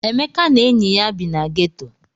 Emeka na enyi ya bi na geto.